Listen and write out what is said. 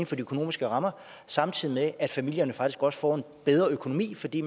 for de økonomiske rammer samtidig med at familierne faktisk også får en bedre økonomi fordi